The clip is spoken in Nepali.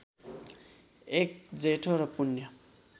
एक जेठो र पुण्य